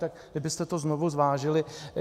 Tak kdybyste to znovu zvážili.